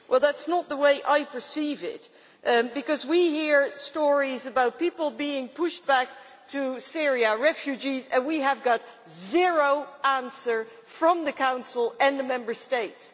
Well that is not the way I perceive it, because we hear stories about people being pushed back to Syria refugees and we have zero answers from the Council or the Member States.